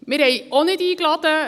Wir haben auch nicht eingeladen.